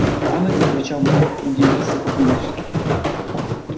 а мы тут при чем удивился папулечка